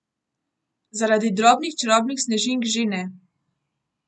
Zaradi drobnih čarobnih snežink že ne.